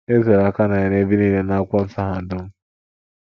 E zoro aka na ya n’ebe nile n’akwụkwọ nsọ ahụ dum.